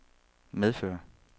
medføre